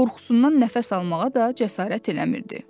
Qorxusundan nəfəs almağa da cəsarət eləmirdi.